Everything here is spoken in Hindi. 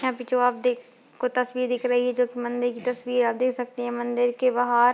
यहाँ पे जो आप देख को तस्वीर दिख रही है जो की मंदिर की तस्वीर है आप देख सकते हैं मंदिर के बाहर --